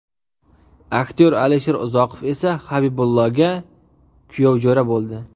Aktyor Alisher Uzoqov esa Habibullaga kuyovjo‘ra bo‘ldi.